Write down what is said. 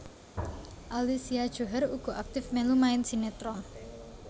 Alicia Djohar uga aktif mèlu main sinetron